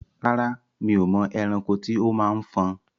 Rárá, mi ò mọ ẹranko tí ó máa ń fọn.